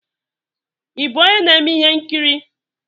Ị bụ onye na-eme ihe nkiri?